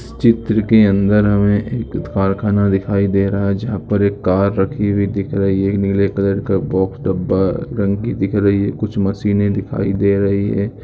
इस चित्र के अंदर हमें एक कारखाना दिखाई दे रहा है जहां पर एक कार रखी हुई दिख रही है नीले कलर का बॉक्स डब्बा या टंकी दिख रही है कुछ मशीने दिखाई दे रही हैं।